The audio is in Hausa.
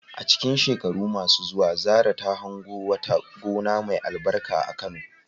A cikin shekaru masu zuwa, Zarah ta hango wata gona mai albarka a Kano.